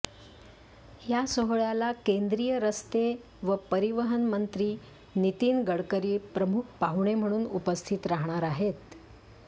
या सोहळ्याला केंद्रीय रस्ते व परिवहन मंत्री नितीन गडकरी प्रमुख पाहुणे म्हणून उपस्थित राहणार आहेत